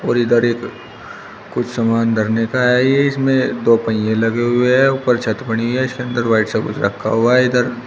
और इधर एक कुछ सामान धरने का है ये इसमें दो पहिए लगे हुए हैं ऊपर छत पड़ी हैं इसके अंदर व्हाइट सा कुछ रखा हुआ है इधर--